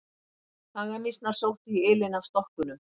Hagamýsnar sóttu í ylinn af stokkunum.